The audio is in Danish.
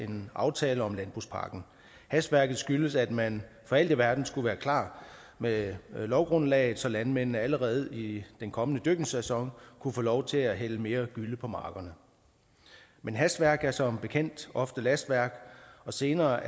en aftale om landbrugspakken hastværket skyldtes at man for alt i verden skulle være klar med lovgrundlaget så landmændene allerede i den kommende dyrkningssæson kunne få lov til hælde mere gylle på markerne men hastværk er som bekendt ofte lastværk og senere